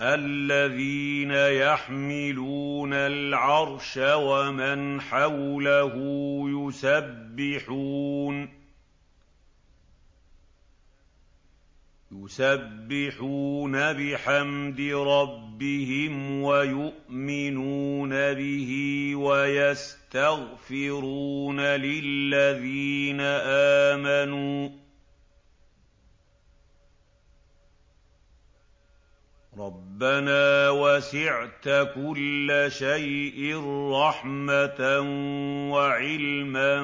الَّذِينَ يَحْمِلُونَ الْعَرْشَ وَمَنْ حَوْلَهُ يُسَبِّحُونَ بِحَمْدِ رَبِّهِمْ وَيُؤْمِنُونَ بِهِ وَيَسْتَغْفِرُونَ لِلَّذِينَ آمَنُوا رَبَّنَا وَسِعْتَ كُلَّ شَيْءٍ رَّحْمَةً وَعِلْمًا